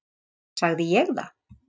Sagði ég það?